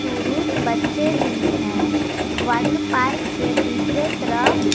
पुरुष बच्चे भी हैं वाटर पार्क के दूसरे तरफ--